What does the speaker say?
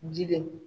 Jidenw